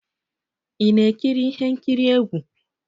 Ị na-ekiri ihe nkiri egwu?